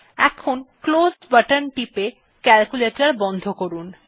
এখন close button টিপে calculator বন্ধ করুন